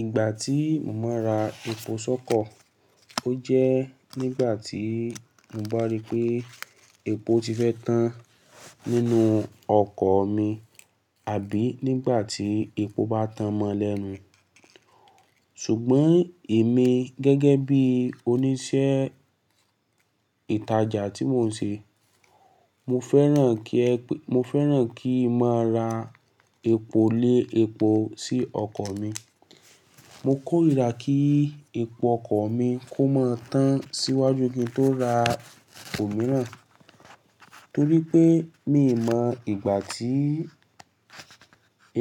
Ìgbà tí mo máa ra epo sóko, ó jẹ́ nígbà tí mo bá rí pé epo ti fẹ́ tán nínú ọkọ̀ mi àbí nígbà tí epo bá tán mọ́lẹ́nu. Ṣùgbọ́n èmi gẹ́gẹ́ bí oníṣẹ́ ìtajà tí mò ń ṣe, mo fẹ́ràn kí ẹ-- mo fẹ́ràn kí máa ra epo lé epo sí ọkọ̀ mi. Mo kórìíra kí epo ọkọ̀ mi kó máa tán síwájú ki n tó ra omìíràn, torí pé mi ò mọ ìgbà tí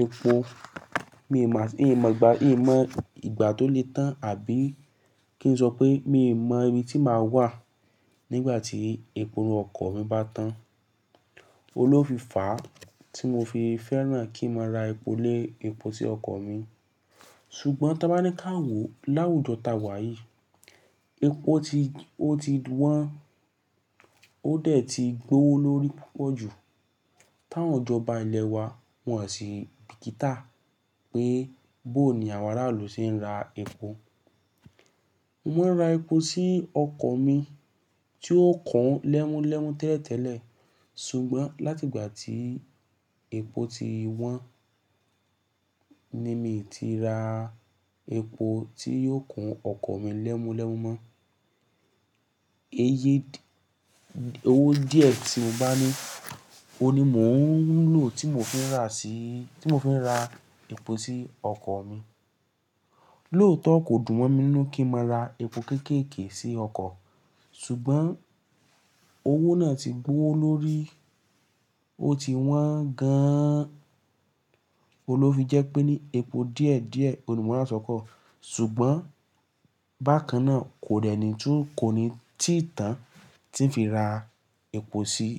epo, mi ò mọ, mi ò mọ ìgbà, mi ò mọ ìgbà tó lè tán àbí kí n sọ pé mi ò mọ ibi tí màá wà nígbà tí epo inú ọkọ̀ mi bá tán. Ounló fì fàá tí mo fi fẹ́ràn kí máa ra epo lé epo sí ọkọ̀ mi. Ṣùgbọ́n tí a bá ní ká wò láwùjọ tá wà yìí, epo ti, ó ti wọ́n, ó dẹ̀ ti gbówó lórí púpọ̀ jù. Táwon ìjọ́ba ilẹ̀ wa wọ̀n sì bìkítà pé bó ní àwọn aráàlú ṣe ń ra epo. Mo máa ń ra epo sí ọkọ̀ mi tí ó kún lẹ́múlẹ́mu tẹ́lẹ̀tẹ́lẹ̀. Ṣùgbọ́n láti ìgbà tí epo ti wọ́n ni mi ti ra epo tí yóò kun ọkọ̀ mi lẹ́múlẹ́mu mọ́. Iye owó díẹ̀ tí mo bá ní, òun ni mò ń lò tí mo fi ń rà sí, tí mo fi ń ra epo sí ọkọ̀ mi. Lóòótọ́ kò dùn mo mí ninú kí máa ra epo kéékèéke sí ọkọ̀, ṣùgbọ́n owó náà ti gbówó lórí, ó ti wọ́n gan-an. Oun ló fi jẹ́ pé ní epo díẹ̀díẹ̀ òun ni mò ń rà sóko. Ṣùgbọ́n bákan náà kò dẹ́ni tún, kò ní títàn tí ń fi ra epo sí.